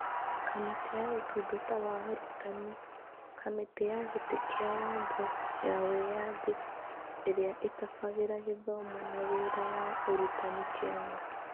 Kamĩtĩ ya Ũtungata wa Arutani Kamĩtĩ ya gĩtĩ kĩa watho ya wĩyathi ĩrĩa ĩtabagĩra gĩthomo na wĩra wa ũrutani Kenya.